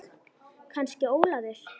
Kannski Ólafur.